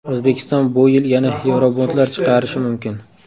O‘zbekiston bu yil yana yevrobondlar chiqarishi mumkin.